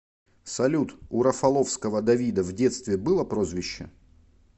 салют у рафаловского давида в детстве было прозвище